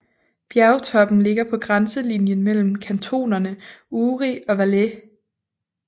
Bjergtoppen ligger på grænselinjen mellem kantonerne Uri og Valais